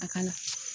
A ka la